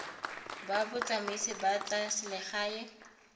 ba botsamaisi ba tsa selegae